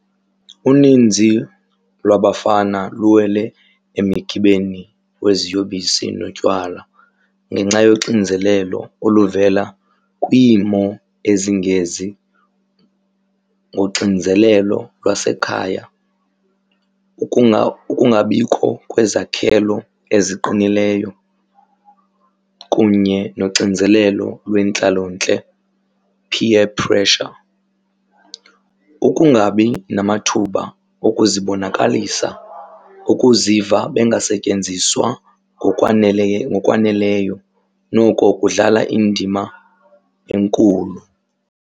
Uninzi lwabafana luwele emigibeni weziyobisi notywala ngenxa yoxinzelelo oluvela kwiimo ezingezi. Ngoxinizelelo lwasekhaya, ukungabikho kwezakhelo eziqinileyo kunye noxinizelelo lwentlalontle peer pressure. Ukungabi namathuba okuzibonakalisa, ukuziva bengasetyenziswa ngokwaneleyo noko kudlala indima enkulu.